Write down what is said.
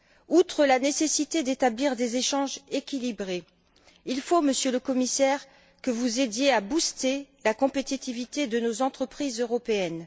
Outre la nécessité d'établir des échanges équilibrés, il faut, Monsieur le Commissaire, que vous aidiez à booster la compétitivité de nos entreprises européennes.